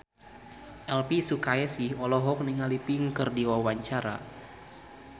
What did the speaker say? Elvy Sukaesih olohok ningali Pink keur diwawancara